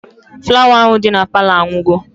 Flawa ahụ dị na Palọ anwụgo